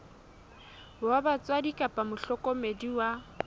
wa batswadi kapa mohlokomedi wa